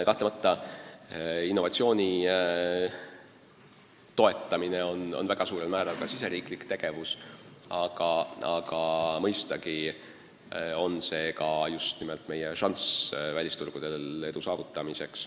Kahtlemata on innovatsiooni toetamine väga suurel määral ka riigisisene tegevus, aga mõistagi on see ka meie šanss välisturgudel edu saavutamiseks.